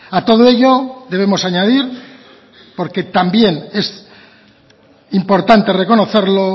a todo ello debemos añadir porque también es importante reconocerlo